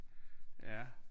Ja